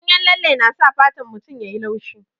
Ganyen lalle na sa fatan mutum ya yi laushi.